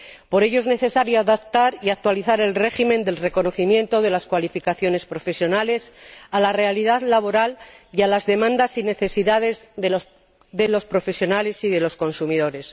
Por ello, es necesario adaptar y actualizar el régimen del reconocimiento de las cualificaciones profesionales a la realidad laboral y a las demandas y necesidades de los profesionales y de los consumidores.